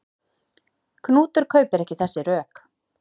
Knútur kaupir ekki þessi rök.